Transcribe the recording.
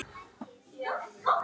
Hann grípur um hana.